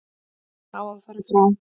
Hún á að fara frá.